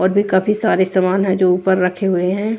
और भी काफी सारे समान हैं जो ऊपर रखे हुए हैं।